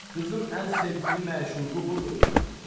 Qızın ən sevgili məşuqu budur!